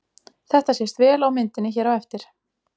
Þetta sést vel á myndinni hér á eftir.